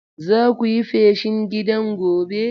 Zaku yi feshin gidan gobe.